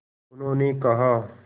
उन्होंने कहा